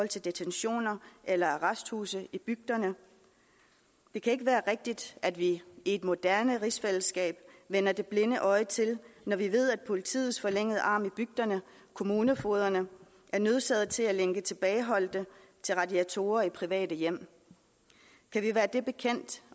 detentioner eller arresthuse i bygderne det kan ikke være rigtigt at vi i et moderne rigsfællesskab vender det blinde øje til når vi ved at politiets forlængede arm i bygderne kommunefogederne er nødsaget til at lænke tilbageholdte til radiatorer i private hjem kan vi være det bekendt